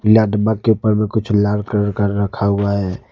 पीला डब्बा के ऊपर में कुछ लाल कलर कर रखा हुआ है।